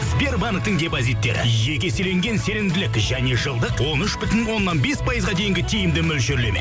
сбербанктің депозиттері жеке еселенген сенімділік және жылдық он үш бүтін оннан бес пайызға дейінгі тиімді мөлшерлеме